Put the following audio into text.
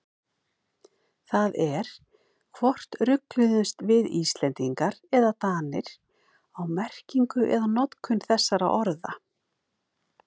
Það er hvort rugluðumst við Íslendingar eða Danir á merkingu eða notkun þessara orða.